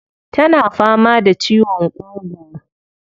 Tana fama da ciwon ƙugu.